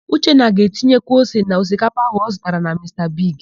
Uchenna ga-etinyekwu ose na osikapa áhụ̀ ọ zụtara na Mista Bigi.